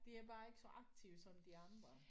De er bare ikke så aktive som de andre